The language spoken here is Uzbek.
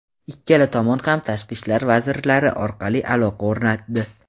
Ikkala tomon ham tashqi ishlar vazirlari orqali aloqa o‘rnatdi.